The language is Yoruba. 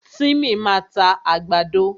Tímì máa ta àgbàdo.